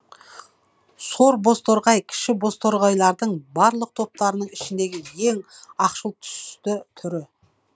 сор бозторғай кіші бозторғайлардың барлық топтарының ішіндегі ең ақшыл түсті түрі